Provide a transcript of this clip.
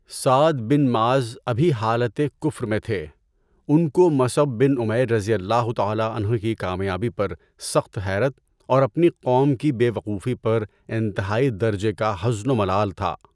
سعد بن معاذ ابھی حالت کفر میں تھے، ان کو مصعب بن عمیر رضی اللہ تعالیٰ عنہ کی کامیابی پر سخت حیرت اور اپنی قوم کی بے وقوفی پر انتہائی درجہ کا حزن و ملال تھا۔